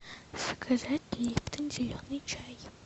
заказать липтон зеленый чай